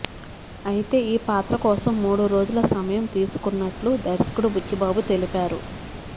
అయితే ఈ పాత్ర కోసం మూడు రోజుల సమయం తీసుకున్నట్లు దర్శకుడు బుచ్చిబాబు తెలిపారు